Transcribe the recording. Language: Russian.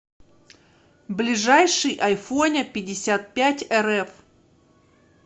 ближайший айфоняпятьдесятпятьэрэф